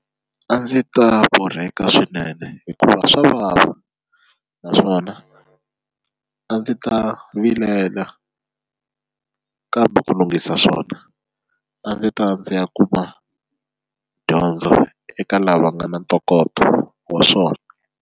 A ndzi ta borheka swinene hikuva swa vava naswona a ndzi ta vilela kambe ku lunghisa swona a ndzi ta ya ndzi ya kuma dyondzo eka lava nga na ntokoto wa swona.